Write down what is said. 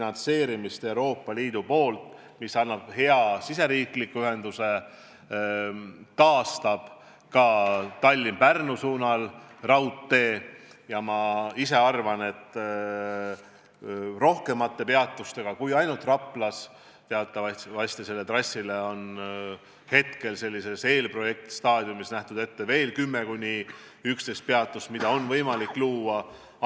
Selle tulemusena saame hea riigisisese ühenduse, taastame raudtee Tallinna–Pärnu suunal ja ma ise arvan, et peatusi saab olema rohkem kui ainult Raplas – teatavasti on selle trassi puhul hetkel, eelprojektistaadiumis nähtud ette veel 10–11 peatust, mida on võimalik luua.